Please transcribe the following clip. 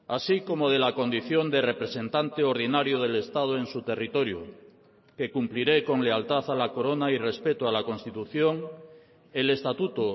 así como de la condición de representante ordinario del estado en su territorio que cumpliré con lealtad a la corona y respeto a la constitución el estatuto